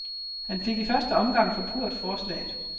Han fik i første omgang forpurret forslaget.